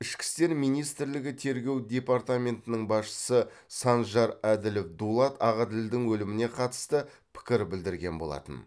ішкі істер министрлігі тергеу департаментінің басшысы санжар әділов дулат ағаділдің өліміне қатысты пікір білдірген болатын